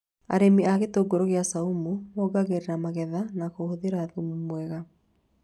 Arĩmi a itũngũrũ cia caumu mongagĩrĩra magetha na kũhũthĩra thumu mwega